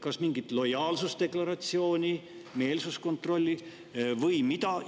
Kas mingit lojaalsusdeklaratsiooni, meelsuskontrolli või mida?